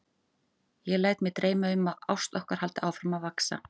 Ég læt mig dreyma um að ást okkar haldi áfram að vaxa.